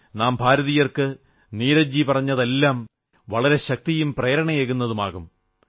നാം ഭാരതീയർക്ക് നീരജ് ജി പറഞ്ഞതെല്ലാം വളരെ ശക്തിയും പ്രേരണയും ഏകുന്നതാകും